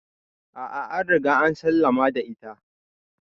A'a an Riga an sallama da ita.